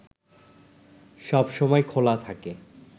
সবসময় খোলা থাকে